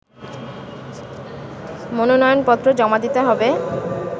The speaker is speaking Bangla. মনোনয়নপত্র জমা দিতে হবে